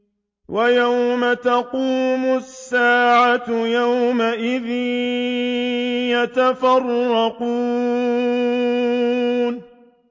وَيَوْمَ تَقُومُ السَّاعَةُ يَوْمَئِذٍ يَتَفَرَّقُونَ